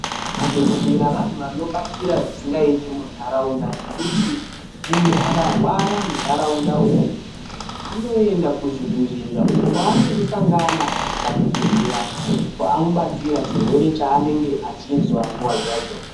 Madhokoteya vanthu vanobatsira zvisingait munharaunda, ngekuti munhu akarwara munharaunda umwu anoenda kuchibhehlera uko kwanondosangana nadhokotera, obva amubatsira chirwere chaanenge achinzwa munguwa dzacho.